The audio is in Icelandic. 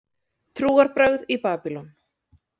Trúarbrögð í Babýlon